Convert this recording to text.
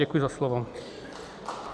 Děkuji za slovo.